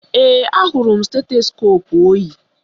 Ee, ahụrụ m stetoskoopu o yi